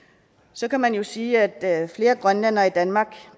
så kan man jo sige at flere grønlændere i danmark